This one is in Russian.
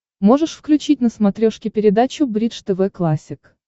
можешь включить на смотрешке передачу бридж тв классик